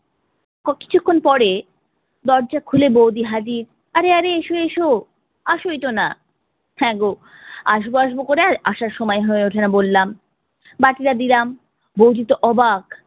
ক~ কিচুক্ষন পরে দরজা খুলে বৌদি হাজির অরে অরে এসো এসো, আসই তো না। হ্যাঁ গো আসব আসব করে আর আসার সময় হয়ে ওঠেনা বললাম। বাটিটা দিলাম, বৌদি তো অবাক